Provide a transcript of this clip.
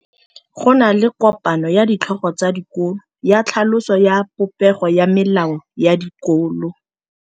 Go na le kopanô ya ditlhogo tsa dikolo ya tlhaloso ya popêgô ya melao ya dikolo.